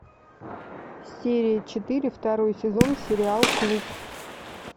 серия четыре второй сезон сериал клуб